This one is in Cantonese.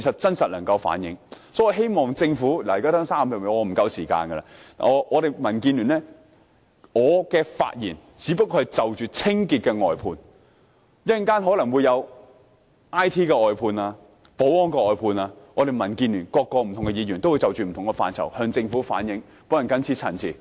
因此，我希望政府——我的發言時間不足，只餘下30多秒——我只提及了清潔服務的外判，稍後可能有議員會提及 IT 和保安服務的外判，民建聯的其他議員會就不同範疇向政府反映意見。我謹此陳辭。